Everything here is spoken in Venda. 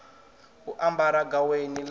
u ambara gaweni ḽa u